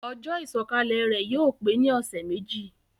Ojó ìsòkalè rè yio pe ni òsé méjì